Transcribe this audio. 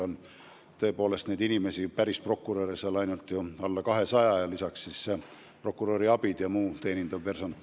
Kokku on nn päris prokuröre veidi alla 200, aga lisaks on prokuröri abid ja mitmesugune teenindav personal.